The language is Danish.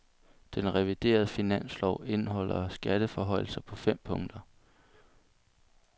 Den reviderede finanslov indeholder skatteforhøjelser på fem punkter.